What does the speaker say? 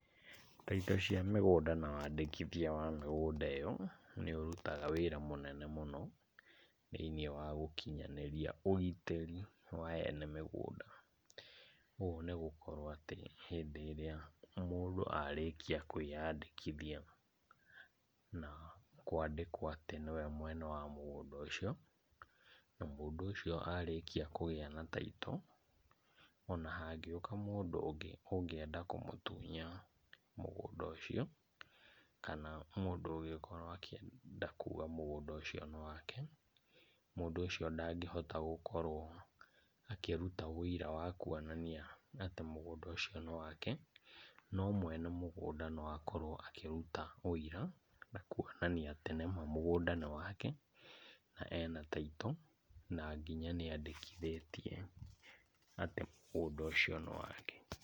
Taitũ cia mĩgũnda na wandĩkithia wa mĩgũnda ĩyo, nĩũrutaga wĩra mũnene mũno thĩnĩ wa ũkinyanĩria ũgitĩri wa ene mĩgũnda. Ũũ nigũkorwo atĩ hĩndĩ ĩria mũndũ arĩkia kwĩandĩkithia na kwandĩkwo atĩ nĩwe mwene wa mũgũnda ũcio na mũndũ ũcio arĩkia kũgĩa na taitũ, ona hangĩũka mũndũ ũngĩ ũngĩenda kũmũtunya mũgũnda ũcio kana mũndũ ũgĩkorwo akienda kuga mũgũnda ũcio nĩwake, mũndũ ũcio ndangihota gũkorwo akĩruta ũira wa kũonania atĩ mũgũnda ũcio nĩwake, no mwene mũgũnda no akorwo akĩruta ũira na kwonania atĩ nĩma mũgũnda nĩwake na ena taitũ na nginya niandĩkithĩtie atĩ mũgũnda ũcio nĩ wake.